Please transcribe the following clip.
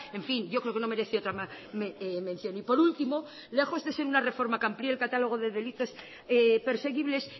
en fin yo creo que no merece otra mención y por último lejos de ser una reforma que amplíe el catálogo de delitos perseguibles